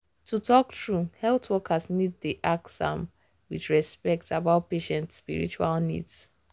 to talk true health workers need dey ask with respect about patient spiritual needs.